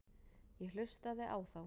Ég hlustaði á þá.